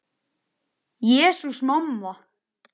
Jesús, mamma.